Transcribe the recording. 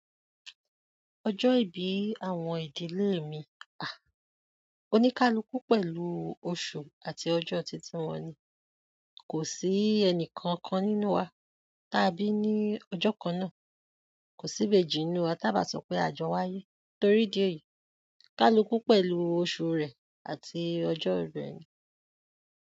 Ọjọ́ ìbí àwọn ìdílé mi, oníkálukú pẹ̀lú oṣù àti ọjọ́ titi wọn ni. Kò sí ẹnì kankan nínú wa t'a bí ní ọjọ́ kan náà. Kò sí'bejì nínú wa tí a ò bá sọ pé a jọ wáyé torí ìdí èyí. Kálukú pẹ̀lú oṣù rẹ̀ àti ọjọ́ rẹ̀ ni.